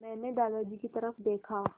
मैंने दादाजी की तरफ़ देखा